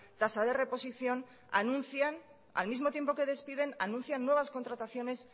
tasa de reposición anuncian al mismo tiempo que despiden anuncian nuevas contrataciones